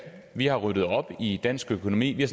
vi har ryddet op i dansk økonomi vi har